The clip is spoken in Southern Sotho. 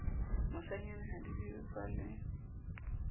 moshanyana ha di jewe paleng